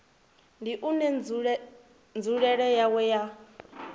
ndi une nzulele yawo ya